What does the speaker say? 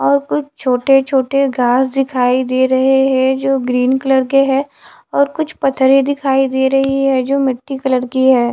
और कुछ छोटे छोटे घास दिखाई दे रहे हैं जो ग्रीन कलर के है और कुछ पत्थरे दिखाई दे रही है जो मिट्टी कलर की है।